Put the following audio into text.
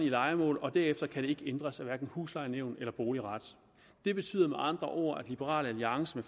lejemål derefter kan den ikke ændres af hverken huslejenævn eller boligret det betyder med andre ord at liberal alliance